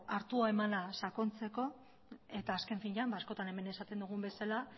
hartu emanak sakontzeko eta azken finean askotan hemen esaten dugun bezala